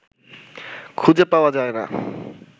খুঁজে পাওয়া যায় না